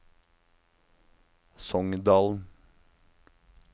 Songdalen